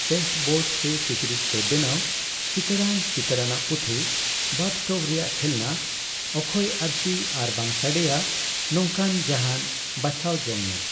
Paste board ᱥᱮ ᱠᱤᱪᱨᱤᱡ ᱛᱮ ᱵᱮᱱᱟᱣ ᱪᱤᱠᱟᱹᱲᱟᱱ ᱪᱤᱛᱟᱹᱨᱟᱱᱟᱜ ᱯᱩᱛᱷᱤ, ᱵᱟᱛᱷᱴᱚᱵᱽ ᱨᱮᱭᱟᱜ ᱠᱷᱮᱞᱚᱱᱟ, ᱚᱠᱠᱷᱚᱭ ᱟᱹᱨᱥᱤ ᱟᱨᱵᱟᱝ ᱥᱟᱰᱮᱭᱟ ᱱᱚᱝᱠᱟᱱ ᱡᱟᱦᱟᱱ ᱵᱟᱷᱟᱣ ᱡᱚᱝᱢᱮ ᱾